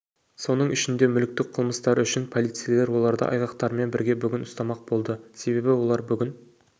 соның ішінде мүліктік қылмыстары үшін полицейлер оларды айғақтарымен бірге бүгін ұстмақ болды себебі олар бүгін